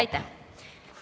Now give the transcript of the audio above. Aitäh!